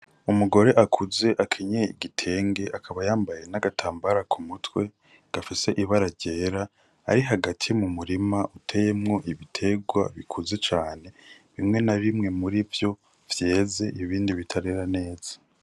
Umugore akuze akenyeye igitenge, akaba yambaye n'agatambara ku mutwe gafise ibara ryera. Ari hagati mu murima uteyemwo ibiterwa bikuze cane. Bimwe na bimwe muri vyo vyeze, ibindi bitarera neza.